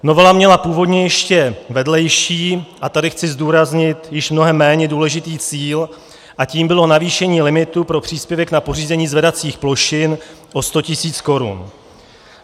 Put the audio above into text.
Novela měla původně ještě vedlejší, a tady chci zdůraznit, již mnohem méně důležitý cíl a tím bylo navýšení limitu pro příspěvek na pořízení zvedacích plošin o 100 tisíc korun.